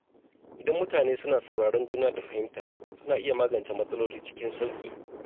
Idan mutane suna sauraron juna da fahimta, suna iya magance matsaloli cikin sauƙi.